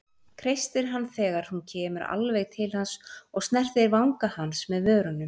Kreistir hann þegar hún kemur alveg til hans og snertir vanga hans með vörunum.